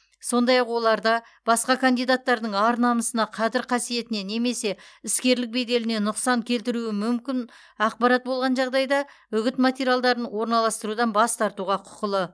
сондай ақ оларда басқа кандидаттардың ар намысына қадір қасиетіне немесе іскерлік беделіне нұқсан келтіруі мүмкін ақпарат болған жағдайда үгіт материалдарын орналастырудан бас тартуға құқылы